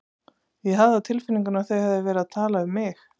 Ég hafði á tilfinningunni að þau hefðu verið að tala um mig.